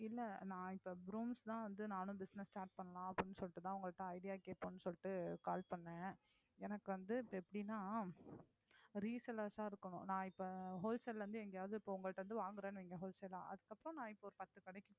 இல்லை நான் இப்ப brooms தான் வந்து நானும் business start பண்ணலாம் அப்படின்னு சொல்லிட்டுதான் உங்கள்ட்ட idea கேட்போம்னு சொல்லிட்டு call பண்ணேன் எனக்கு வந்து இப்ப எப்படின்னா resellers ஆ இருக்கணும் நான் இப்ப wholesale ல இருந்து எங்கயாவது இப்ப உங்கள்ட்ட இருந்து வாங்கறேன்னு வையுங்க wholesale ஆ அதுக்கப்புறம் நான் இப்ப ஒரு பத்து கடைக்கு